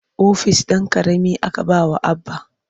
Ofis ɗan ƙarami aka ba wa Abba.